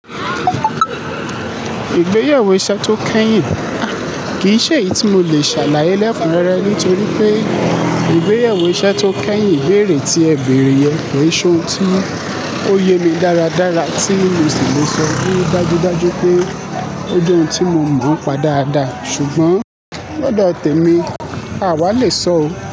Ìgbéyàwó iṣẹ́ tó kẹ́yìn, àh, kì í ṣe èyí tí mo lè ṣàlàyé lẹ́kùnrẹ́rẹ́ nítorí pé ìgbéyàwó iṣẹ́ tó kẹ́yìn ìbéèrè tí ẹ bèèrè yẹn kì ṣe ohun tí ó yé mi dáradára tí mo sì le sọ bí dájúdájú pé ó jẹ́ ohun tí mo mọ̀ npa dáadáa. Ṣùgbọ́n lọ́dọ̀ tẹ̀mí, àwa le sọ ò.